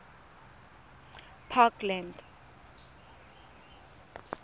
parkland